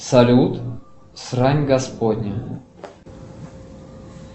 салют срань господня